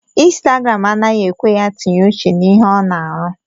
Instagram anaghị ekwe ya tinye uche na ihe ọ na arụ